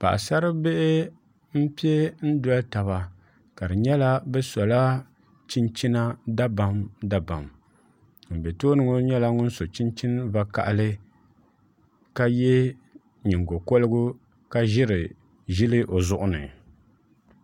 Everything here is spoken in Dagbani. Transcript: Paɣasaribihi n pe ndoli taba ka di nyɛla bɛ sola chinchina dabam dabam ŋun be tooni ŋɔ nyɛla ŋun so chinchini vakahali ka ye nyingokorigu ka ʒiri ʒili o zuɣuni.